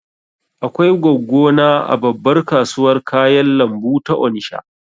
Akwai goggo na a babbar kasuwar kayan lambu ta Onisha